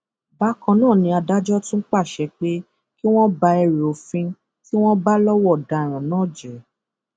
bákan náà ni adájọ tún pàṣẹ pé kí wọn ba ẹrù òfin tí wọn bá lọwọ ọdaràn náà jẹ